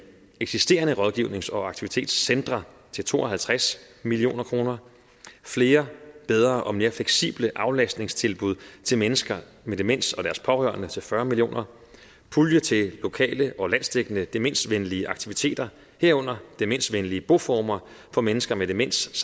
eksisterende rådgivnings og aktivitetscentre til to og halvtreds million kroner flere bedre og mere fleksible aflastningstilbud til mennesker med demens og deres pårørende til fyrre million kroner pulje til lokale og landsdækkende demensvenlige aktindsigter herunder demensvenlige boformer for mennesker med demens